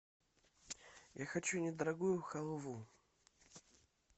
я хочу недорогую халву